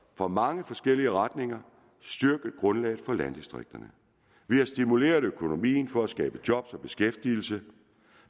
fra mange forskellige retninger styrket grundlaget for landdistrikterne vi har stimuleret økonomien for at skabe job og beskæftigelse